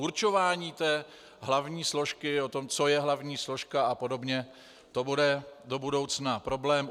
Určování té hlavní složky, o tom, co je hlavní složka a podobně, to bude do budoucna problém.